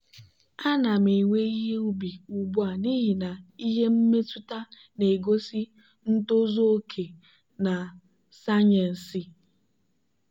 ana m ewe ihe ubi ugbu a n'ihi na ihe mmetụta na-egosi ntozu oke na sayensị.